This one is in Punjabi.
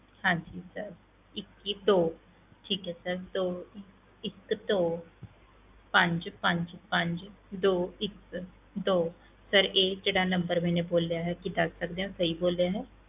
ਹਾਂਜੀ sir ਇੱਕੀ ਦੋ ਠੀਕ ਹੈ sir ਦੋ ਇੱਕ ਦੋ ਪੰਜ ਪੰਜ ਪੰਜ ਦੋ ਇੱਕ ਦੋ sir ਇਹ ਜਿਹੜਾ number ਮੈਨੇ ਬੋਲਿਆ ਹੈ ਕੀ ਦੱਸ ਸਕਦੇ ਹੋ ਸਹੀ ਬੋਲਿਆ ਹੈ,